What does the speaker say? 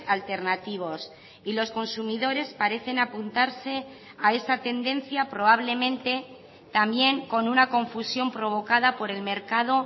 alternativos y los consumidores parecen apuntarse a esa tendencia probablemente también con una confusión provocada por el mercado